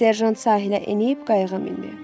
Serjant sahilə enib qayıya mindi.